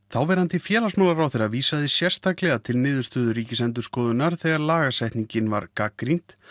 þáverandi félagsmálaráðherra vísaði sérstaklega til Ríkisendurskoðunar þegar lagasetningin var gagnrýnd